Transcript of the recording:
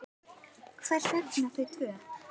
Hvers vegna þau tvö?